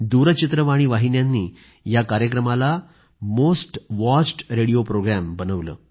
दूरचित्रवाणी वाहिन्यांनी या कार्यक्रमाला मोस्ट वॉचड् रेडिओ प्रोग्रॅम बनवले